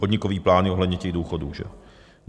Podnikové plány ohledně těch důchodů.